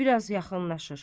Bir az yaxınlaşır.